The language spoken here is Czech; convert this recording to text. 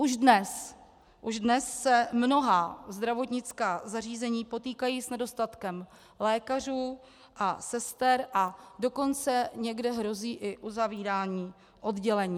Už dnes se mnohá zdravotnická zařízení potýkají s nedostatkem lékařů a sester, a dokonce někde hrozí i uzavírání oddělení.